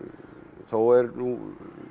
þó er nú